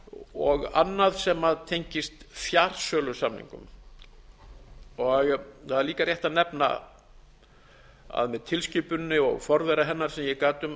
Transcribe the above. og annað sem tengist fjarsölusamningum það er líka rétt að nefna að með tilskipuninni og forvera hennar sem ég gat um